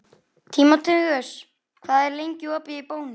Tímoteus, hvað er lengi opið í Bónus?